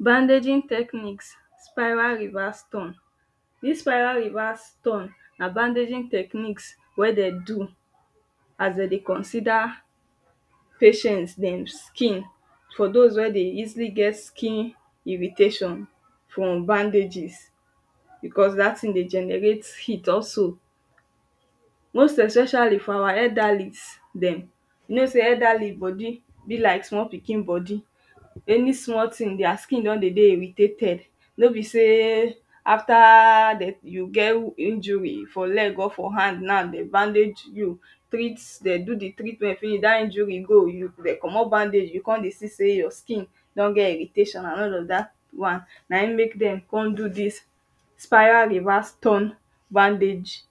Bandaging techniques, spiral reverse turn. Dis spiral reverse turn na bandaging techniques wey dem do as dem dey consider patients dem skin. For dos wey dey easily get skin irritation from bandages because dat thing dey generate heat also. Most especially for our elderly dem. You know sey elderly body be like small pikin body. Any small thing their skin don dey dey irritated. No be sey after de you get injury for leg or for hand now, de bandage you, treat, dem do the treatment finish, dat injury go. You de comot bandage you con dey see sey your skin don get irritation. And all of dat one na im make dem con do dis spiral reverse turn bandage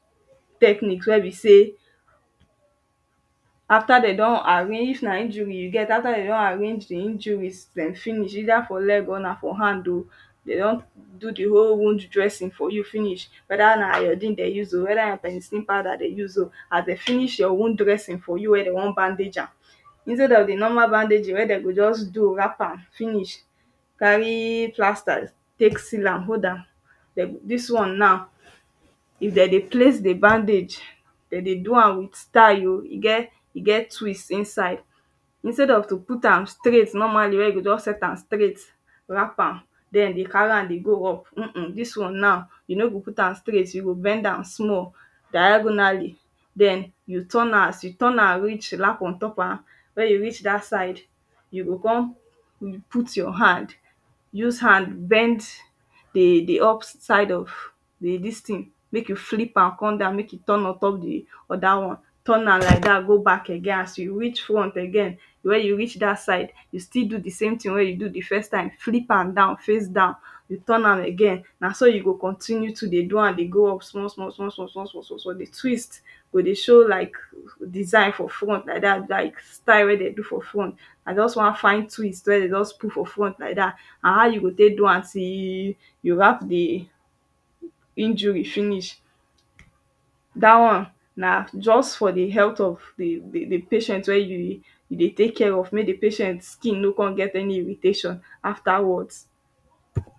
technique wey be sey after dem do arrange, if na injury you get, after dem don arrange the injury den finish either for leg or na for hand oh. They don do the whole wound dressing for you finish. Whether na iodine dem use oh whether na penicilin powder de use oh. As de finish your wound dressing finish for you wey dem wan bandage am, instead of the normal bandaging wey dem go just do, wrap am finish, carry plaster take seal am hold am, de go dis one now if dem dey place the bandage, dem dey do am with style oh. E get e get twist inside. Instead of to put am straight normally. When you go just set am straight wrap am. Den dey carry am dey go work urm urm. Dis one now, you no go put am straight. You go bend am small diagonally. Den you turn am. As you turn am reach lap on top am, when you reach dat side, you go con put your hand. Use hand bend the the up side of the dis thing. Make you flip am come down, make e turn on top the other one. Turn am like dat go back again. As you reach front again wey you reach dat side, you still do the same thing wey you do the first time. Flip am down face down. You turn am again. Na so you go continue to dey do am dey go small small small small small small small small dey twist. Go dey show like design for front like dat. Like style wey dem do for front. I just wan find twist wey dem just put for front like dat and how you go take do am till you wrap the injury finish. Dat one na just for the health of the the patient wey you dey take care of. Make the patient skin no con get irritation after wat.